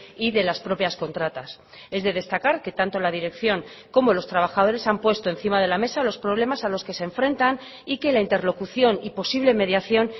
y de las propias contratas es de destacar que tanto la dirección como los trabajadores han puesto encima de la mesa los problemas a los que se enfrentan y que la interlocución y posible mediación